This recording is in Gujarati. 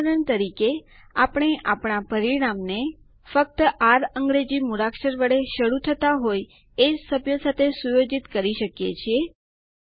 ઉદાહરણ તરીકે આપણે આપણા પરિણામ ને ફક્ત આર અંગ્રેજી મૂળાક્ષર વડે શરૂ થતા હોય એ જ સભ્યો સાથે સુયોજિત કરી શકીએ છીએ